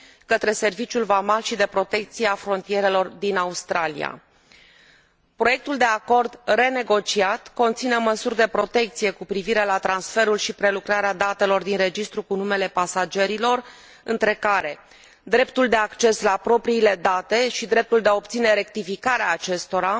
către Serviciul vamal și de protecție a frontierelor din Australia. Proiectul de acord renegociat conține măsuri de protecție cu privire la transferul și prelucrarea datelor din registrul cu numele pasagerilor între care dreptul de acces la propriile date și dreptul de a obține rectificarea acestora,